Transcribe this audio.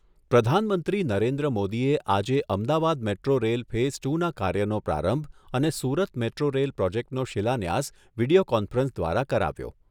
પ્રધાનમંત્રી નરેન્દ્ર મોદીએ આજે Ahmedabad metro rail phase two ના કાર્યનો પ્રારંભ અને સુરત મેટ્રો રેલ પ્રોજેક્ટનો શિલાન્યાસ વીડિયો કોન્ફરન્સ દ્વારા કરાવ્યો.